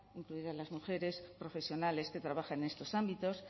incluidas las mujeres profesionales que trabajan en estos ámbitos